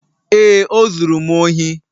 Ee, o zuru m ohi